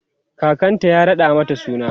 kakanta ya raɗa mata suna